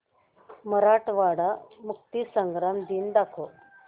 मराठवाडा मुक्तीसंग्राम दिन दाखव